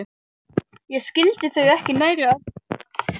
Ég skildi þau ekki nærri öll.